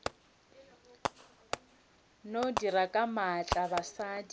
no dira ka maatla basadi